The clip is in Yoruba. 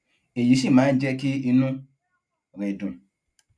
èyí sì máa ń jé kí inú rè dùn